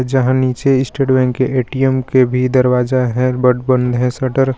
जहां नीचे State Bank के ए_टी_एम के भी दरवाजा है बट बंद है शटर .